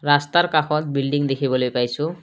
ৰাস্তাৰ কাষত বিল্ডিং দেখিবলৈ পাইছোঁ।